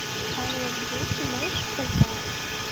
ай лав ю ты можешь показать